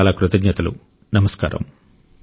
మీకు అనేకానేక ధన్యవాదాలు